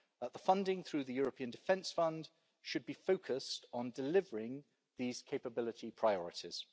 The funding through the European Defence Fund should be focused on delivering these capability priorities.